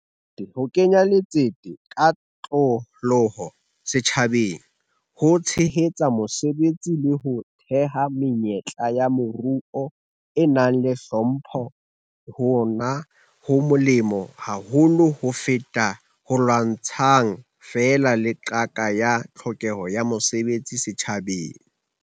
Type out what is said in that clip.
Ho kenya letsete ka kotloloho setjhabeng ho tshehetsa mesebetsi le ho theha menyetla ya moruo e nang le hlompho hona ho molemo haholo ho feta ho lwantshang feela le qaka ya tlhokeho ya mesebetsi setjhabeng.